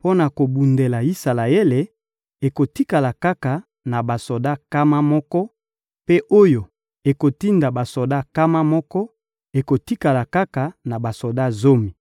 mpo na kobundela Isalaele ekotikala kaka na basoda nkama moko, mpe oyo ekotinda basoda nkama moko ekotikala kaka na basoda zomi.»